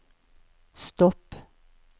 stopp